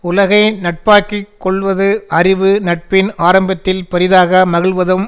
உலகை நட்பாக்கி கொள்வது அறிவு நட்பின் ஆரம்பத்தில் பெரிதாக மகிழ்வதும்